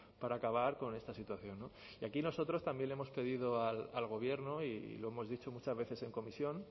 para acabar con esta situación y aquí nosotros también le hemos pedido al gobierno y lo hemos dicho muchas veces en comisión